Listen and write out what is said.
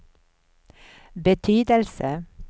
betydelse